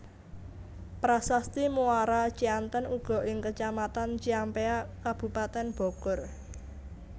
Prasasti Muara Cianten uga ing Kecamatan Ciampea Kabupaten Bogor